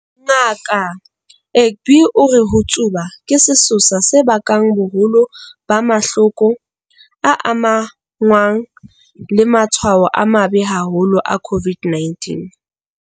Ngaka Egbe o re ho tsuba ke sesosa se bakang boholo ba mahloko a amahanngwang le matshwao a mabe haholo a COVID-19.